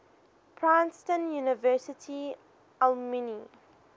princeton university alumni